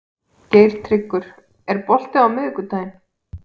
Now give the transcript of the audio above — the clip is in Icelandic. Geirtryggur, er bolti á miðvikudaginn?